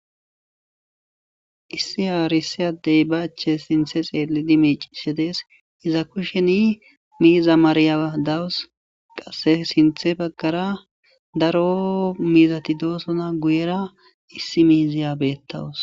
issi aarissa addey ba ache sinthe xeelidi miicishe dees iza kusheni miiza mariya dawus qasse sinthe baggara daro miizati doosona guyera issi miiziya beettawus